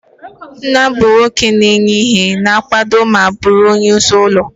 Nna bụ nwoke na-enye ihe, na-akwado ma bụrụ onyeisi ezinụlọ.